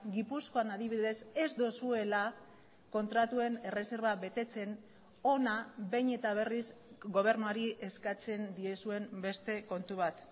gipuzkoan adibidez ez duzuela kontratuen erreserba betetzen hona behin eta berriz gobernuari eskatzen diezuen beste kontu bat